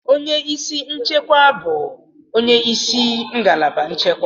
Onye isi nchekwa bụ onye isi ngalaba nchekwa.